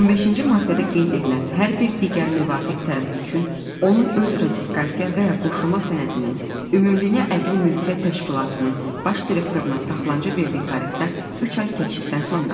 15-ci maddədə qeyd edilən hər bir digər müvafiq tərəf üçün onun öz ratifikasiya və ya qoşulma sənədinin Ümumdünya Əqli Mülkiyyət Təşkilatının baş direktoruna saxlanıca verdiyi tarixdən üç ay keçdikdən sonra.